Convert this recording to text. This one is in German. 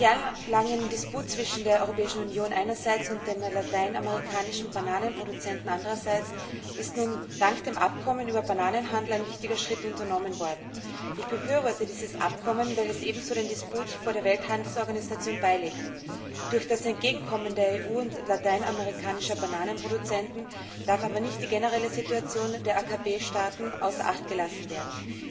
Nach jahrelangem Disput zwischen der Europäischen Union einerseits und den lateinamerikanischen Bananenproduzenten andererseits ist nun dank dem Abkommen über den Bananenhandel ein wichtiger Schritt unternommen worden. Ich befürworte dieses Abkommen, weil es ebenso den Disput vor der Welthandelsorganisation beilegt. Durch das Entgegenkommen der EU und lateinamerikanischer Bananenproduzenten darf aber nicht die generelle Situation der AKP Staaten außer Acht gelassen werden.